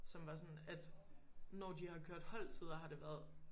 Som var sådan at når de har kørt holdtider har det været